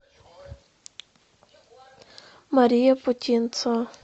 мария путинцева